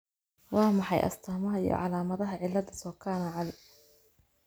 Waa maxay astamaha iyo calaamadaha cilada Sokana Ali ?